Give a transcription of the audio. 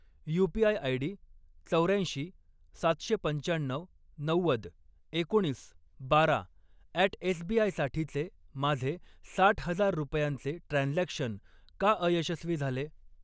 UPI ID चौर्याऐंशी, सातशे पंचाण्णऊ, नव्वद, एकोणीस, बारा अॅट एसबीआय साठीचे माझे साठ हजार रुपयांचे ट्रान्झॅक्शन का अयशस्वी झाले?